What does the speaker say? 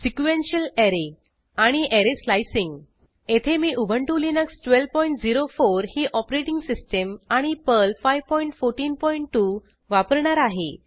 sequential array आणि array slicing येथे मी उबंटु लिनक्स 1204 ही ऑपरेटिंग सिस्टीम आणि पर्ल 5142 वापरणार आहे